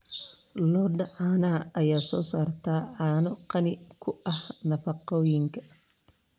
Lo'da caanaha ayaa soo saarta caano qani ku ah nafaqooyinka.